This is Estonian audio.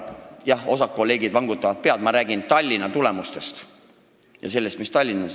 Jah, osa kolleege vangutavad pead, aga ma räägin Tallinna tulemustest ja sellest, mis Tallinnas oli.